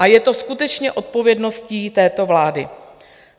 A je to skutečně odpovědností této vlády.